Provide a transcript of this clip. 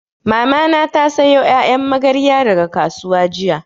Mamana ta sayo ƴaƴan magarya daga kasuwa jiya